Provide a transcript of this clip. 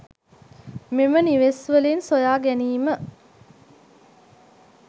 මෙම නිවෙස්‌වලින් සොයාගැනීම